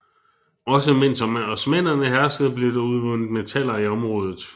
Også mens osmannerne herskede blev der udvundet metaller i området